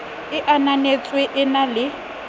e ananetsweng e na le